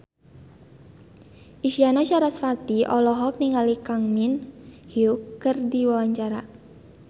Isyana Sarasvati olohok ningali Kang Min Hyuk keur diwawancara